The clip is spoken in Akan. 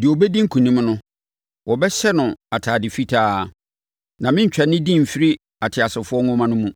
Deɛ ɔbɛdi nkonim no, wɔbɛhyɛ no atadeɛ fitaa, na merentwa ne din mfiri ateasefoɔ nwoma no mu.